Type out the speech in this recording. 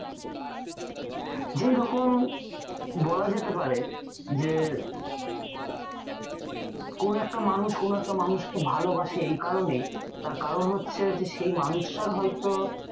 রকম বলা যেতে পারে যে কোন একটা মানুষ কোন একটা মানুষকে ভালোবাসে এই কারণেই তার কারণ হচ্ছে যে সেই মানুষ্টার হয়তো